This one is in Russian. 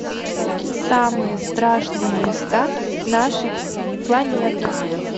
самые страшные места нашей планеты